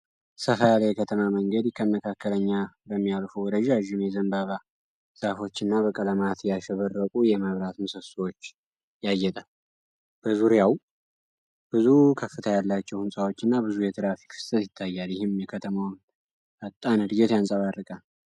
ሰፋ ያለ የከተማ መንገድ ከመካከለኛ በሚያልፉ ረዣዥም የዘንባባ ዛፎች እና በቀለማት ያሸበረቁ የመብራት ምሰሶች ያጌጣል። በዙሪያው ብዙ ከፍታ ያላቸው ሕንፃዎች እና ብዙ የትራፊክ ፍሰት ይታያል፤ ይህም የከተማዋን ፈጣን ዕድገት ያንጸባርቃል።